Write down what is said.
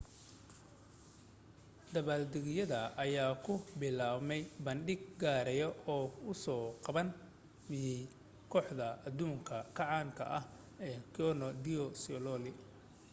dabbaaldegyada ayaa ku bilaabmay bandhig gaara oo uu soo qaban qaabiyay kooxda adduunka ka caanka ah ee cirque du soleil